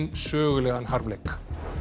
sögulegan harmleik